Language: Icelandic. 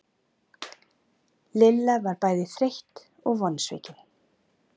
Lilla var bæði þreytt og vonsvikin.